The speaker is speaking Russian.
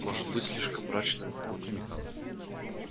может быть слишком мрачный но вполне